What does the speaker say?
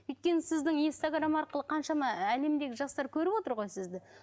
өйткені сіздің инстаграмм арқылы қаншама әлемдегі жастар көріп отыр ғой сізді